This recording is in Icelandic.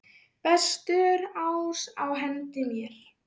Bestur ás á hendi mér.